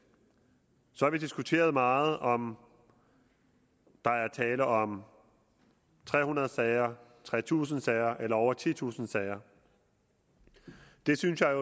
så har vi diskuteret meget om der er tale om tre hundrede sager tre tusind sager eller over titusind sager det synes jeg